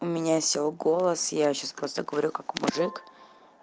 у меня сел голос я сейчас просто говорю как мужик